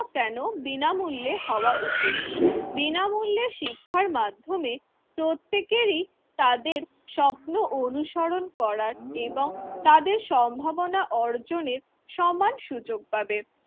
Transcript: কেন বিনামূল্যে হওয়া উচিত? বিনামূল্যে শিক্ষার মাধ্যমে প্রত্যেকেরই তাদের স্বপ্ন অনুসরণ করার এবং তাদের সম্ভাবনা অর্জনের সমান সুযোগ পাবে।